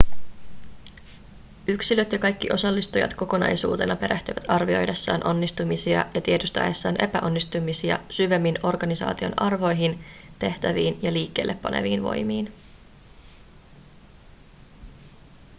yksilöt ja kaikki osallistujat kokonaisuutena perehtyvät arvioidessaan onnistumisia ja tiedostaessaan epäonnistumisia syvemmin organisaation arvoihin tehtäviin ja liikkeelle paneviin voimiin